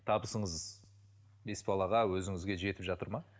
табысыңыз бес балаға өзіңізге жетіп жатыр ма